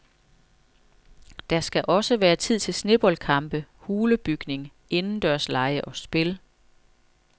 Der skal også være tid til sneboldkampe, hulebygning, indendørslege og spil.